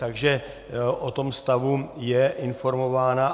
Takže o tom stavu je informována.